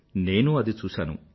నేనూ అది చూశాను